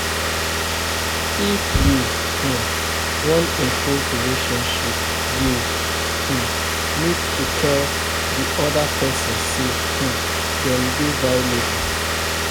If we um wan improve relationship we um need to tell di oda person sey um dem dey valuable